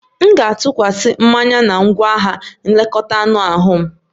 M ga-atụkwasi mmanya na ngwaahịa nlekọta anụ ahụ m